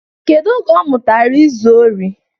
Kedu oge ọ mụtara izu ori?